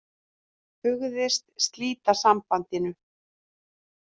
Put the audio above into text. Hugðist slíta sambandinu